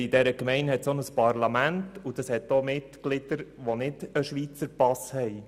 In dieser Gemeinde gibt es auch ein Parlament, und in diesem gibt es auch Mitglieder, die keinen Schweizer Pass besitzen.